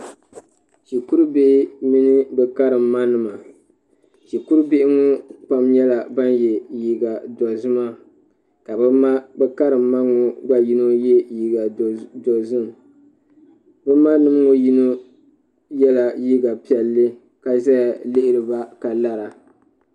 shikuru bihi mini bɛ karimma nima shikuru bihi ŋɔ pam nyɛla ban ye liiga dozima ka bɛ karimma ŋɔ gba yino ye liiga dozim bɛ ma nima ŋɔ yino yela liiga piɛlli ka zaya lihiri ba ka lara.